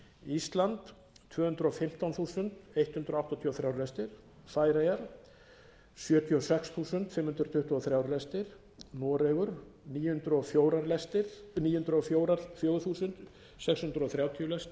ísland tvö hundruð og fimmtán þúsund hundrað áttatíu og þrjú lestir færeyjar sjötíu og sex þúsund fimm hundruð tuttugu og þrjú lestir noregur níu hundruð og fjögur þúsund sex hundruð þrjátíu